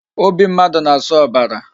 Obi mmadụ na-asụ ọbara